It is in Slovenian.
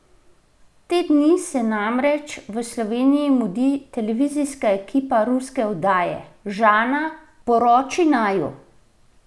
Te dni se namreč v Sloveniji mudi televizijska ekipa ruske oddaje Žana, poroči naju!